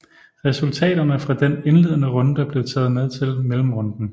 Resultaterne fra den indledende runde blev taget med til mellemrunden